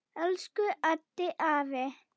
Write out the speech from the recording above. Elsku Haddi afi.